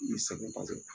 I sɛgɛn kosɛbɛ